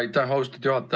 Aitäh, austatud juhataja!